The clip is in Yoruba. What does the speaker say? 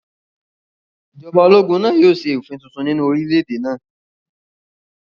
Ìjọba ológun náà yóò ṣe òfin tuntun nínú orílẹ̀-èdè náà